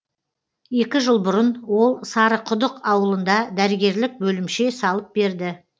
екі жыл бұрын ол сарықұдық ауылында дәрігерлік бөлімше салып берді